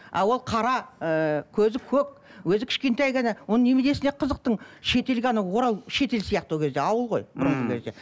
а ол қара ыыы көзі көк өзі кішкентай ғана оның неменесіне қызықтың шетелге анау орал шетел сияқты ол кезде ауыл ғой